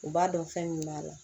U b'a dɔn fɛn min b'a la